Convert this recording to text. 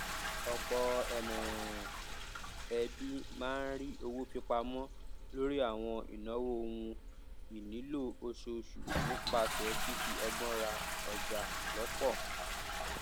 ọpọ um ẹbí máa n rí owó fi pamọ lórí àwọn ìnáwó ohun ìnílò oṣooṣù nípasẹ fífi ọgbọn rà ọjà lọpọ